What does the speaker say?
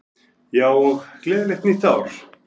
Já, og gleðilegt nýtt ár!